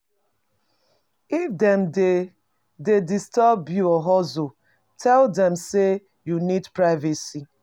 If dem dey dey disturb your hustle, tell dem sey you need privacy